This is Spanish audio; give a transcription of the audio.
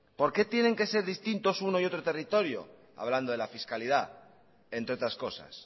por qué tienen que ser distintos uno y otro territorio hablando de la fiscalidad entre otras cosas